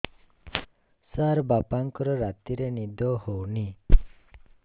ସାର ବାପାଙ୍କର ରାତିରେ ନିଦ ହଉନି